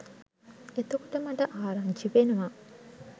එතකොට මට ආරංචි වෙනවා